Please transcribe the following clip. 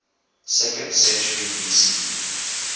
second century bce